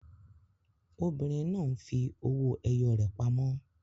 Obìnrin náà ń fi owó ẹyọ rẹ̀ pamọ́.